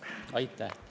Aitäh!